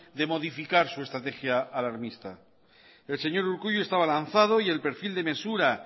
de modificar su estrategia alarmista el señor urkullu estaba lanzado y el perfil de mesura